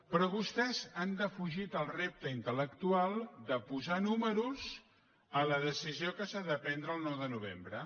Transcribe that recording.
però vostès han defugit el repte intel·lectual de posar números a la decisió que s’ha de prendre el nou de novembre